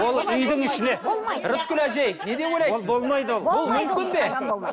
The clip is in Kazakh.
ол үйдің ішіне рыскүл әжей не деп ойлайсыз ол болмайды ол ол мүмкін бе